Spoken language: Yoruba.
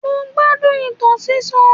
Mo gbádùn ìtàn sísọ.